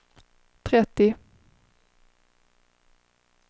trettio